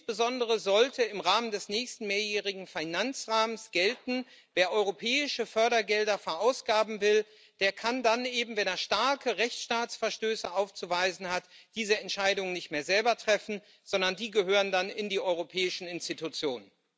Insbesondere sollte im Rahmen des nächsten mehrjährigen Finanzrahmens gelten Wer europäische Fördergelder verausgaben will, der kann dann eben, wenn er starke Rechtsstaatsverstöße aufzuweisen hat, diese Entscheidungen nicht mehr selber treffen, sondern die gehören dann in die europäischen Institutionen.